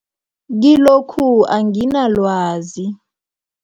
Kilokhu anginalwazi.